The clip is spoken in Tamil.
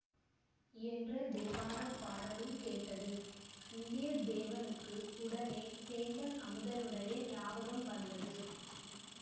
என்ற தேவார பாடலும் கேட்டது வந்தியத்தேவனுக்கு உடனே சேந்தன் அமுதனுடைய ஞாபகம் வந்தது